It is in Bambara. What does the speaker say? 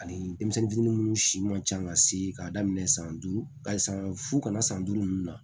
Ani denmisɛnnin minnu si man ca ka se k'a daminɛ san duuru hali san fu kana san duuru ninnu na